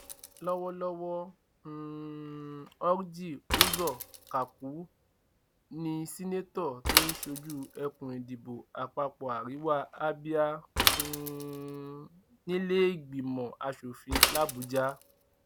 lọwọlọwọ um orji uzor kaku ní seneto tó ń ṣojú ẹkùn ìdìbò àpapọ àríwá abia um nílẹẹgbìmọ asòfin labujà